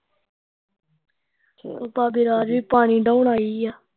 ਹੁਣ ਭਾਬੀ ਰਾਜ ਵੀ ਪਾਣੀ ਡਾਉਣ ਆਈ ਆ